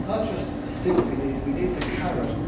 It is not just the stick we need, we need the carrot.